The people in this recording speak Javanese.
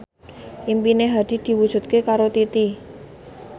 impine Hadi diwujudke karo Titi